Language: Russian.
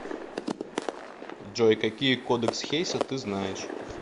джой какие кодекс хейса ты знаешь